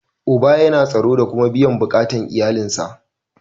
Uba yana tsaro da kuma biyan bukatar iyalin sa.